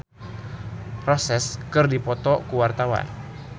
Dina Lorenza jeung Gun N Roses keur dipoto ku wartawan